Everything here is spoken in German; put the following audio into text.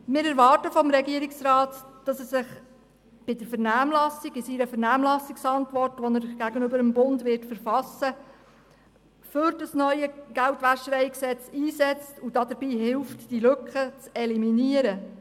Wir erwarten vom Regierungsrat, dass er sich in seiner Vernehmlassungsantwort, die er zuhanden des Bundes verfassen wird, für das neue GwG einsetzt und so mithilft, diese Gesetzeslücke zu eliminieren.